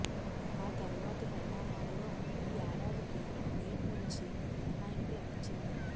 ఆ తర్వాతి పరిణామాల్లో ఈ ఏడాదికి నీట్ నుంచి మినహాయింపు లభించింది